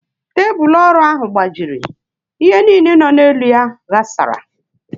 Tebulu ọrụ ahụ gbajiri, ihe niile nọ n'elu ya ghasara